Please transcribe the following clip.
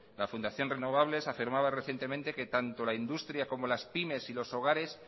la fundación renovables afirmaba recientemente que tanto la industria como las pymes y los hogares